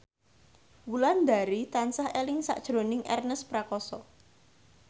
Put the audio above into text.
Wulandari tansah eling sakjroning Ernest Prakasa